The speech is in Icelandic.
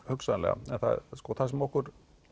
hugsanlega en það sem okkur